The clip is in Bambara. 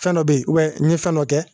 Fɛn dɔ bɛ yen n ye fɛn dɔ kɛ